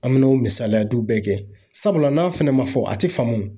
An be n'o misaliyadiw bɛɛ kɛ sabula n'a fɛnɛ ma fɔ a ti faamu.